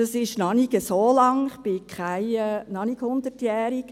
Das ist noch nicht so lange her, ich bin noch nicht 100jährig.